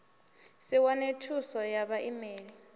si wane thuos ya vhaimeli